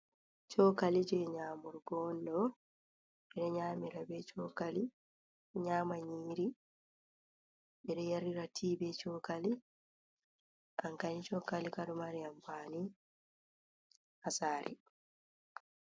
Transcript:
Sokali je nyamurgo do ɓe nyamira ɓe sokali nyamanyiri ɓe ɗo yarira tii ɓe sokali ankani sokali ka ɗo mari anfani ha sare.